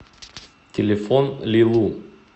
телефон лилу